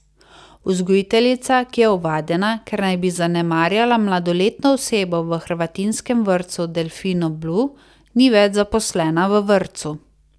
Vzgojiteljica, ki je ovadena, ker naj bi zanemarjala mladoletno osebo v hrvatinskem vrtcu Delfino blu, ni več zaposlena v vrtcu.